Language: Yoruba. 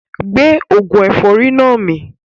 Gbé oògùn ẹ̀fọ́rì náà mì